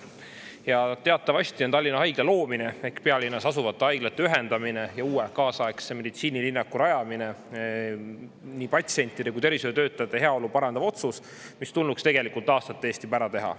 Ja teatavasti on Tallinna Haigla loomine ehk pealinnas asuvate haiglate ühendamine ja uue kaasaegse meditsiinilinnaku rajamine nii patsientide kui tervishoiutöötajate heaolu parandav otsus, mis tulnuks tegelikult aastate eest juba ära teha.